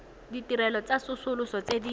ditirelo tsa tsosoloso tse di